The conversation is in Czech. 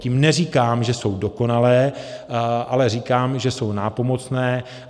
Tím neříkám, že jsou dokonalé, ale říkám, že jsou nápomocné.